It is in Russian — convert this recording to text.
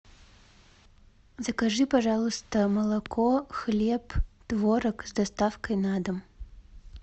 закажи пожалуйста молоко хлеб творог с доставкой на дом